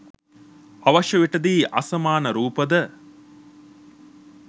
අවශ්‍ය විටදී අසමාන රූප ද